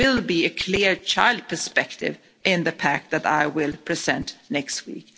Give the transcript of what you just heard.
There will be a clear child perspective in the pact that I will present next week.